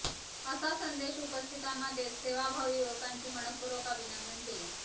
असा संदेश उपस्थितांना देत सेवाभावी युवकांचे मनःपूर्वक अभिनंदन केले